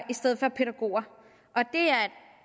i stedet for pædagoger det